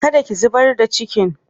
Kada ki zubar da cikin!